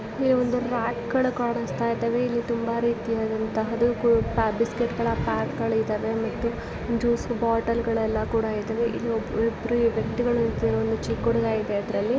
ಇಲ್ಲಿ ಮ್ಯಾಟ್ ಗಳು ಕೂಡ ಕಾಣಿಸ್ತಾ ಇದೆ ಇದು ತುಂಬಾ ದೊಡ್ಡ ಬಿಸ್ಕೆಟ್ಗಳ ಪ್ಯಾಕ್ಗಳು ಕಾಣಿಸ್ತಾ ಇದೆ ಮತ್ತು ಜ್ಯೂಸ್ ಬಾಟಲಿಗಳು ಎಲ್ಲ ಕೂಡ ಇದೆ ಚಿಕ್ಕ ಹುಡುಗರು ಕೂಡ ಕಾಣಿಸುತ್ತಿದ್ದಾರೆ